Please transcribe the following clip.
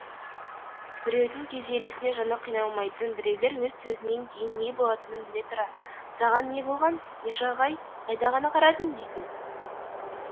біреудің күйзелісіне жаны қиналмайтын біреулер өз сөзінен кейін не болатынын біле тұра саған не болған миша ағай қайда ғана қарадың дейтін